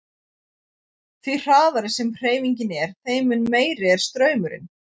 Því hraðari sem hreyfingin er þeim mun meiri er straumurinn.